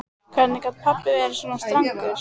Hvernig gat pabbi verið svona strangur?